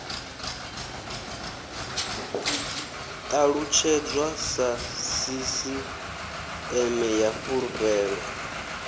ṱalutshedzwa sa sisiṱeme ya fulufhelo